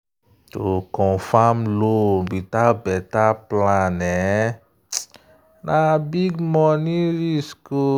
to confirm loan without better plan um na big money risk.